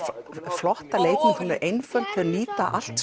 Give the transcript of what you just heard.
flotta leikmynd hún er einföld þau nýta allt